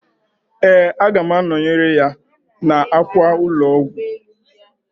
Ee, aga m anọyere ya n'akwa ụlọọgwụ.